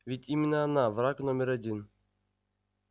ведь именно она враг номер один